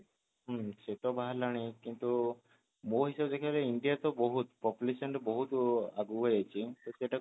ହୁଁ ସେତ ବାହାରିଲାଣି କିନ୍ତୁ ମୋ ହିସାବ ରେ କହିଲା ଇଣ୍ଡିଆ ତ ବହୁତ population ରେ ବହୁତ ଆଗକୁ ହେଇଛି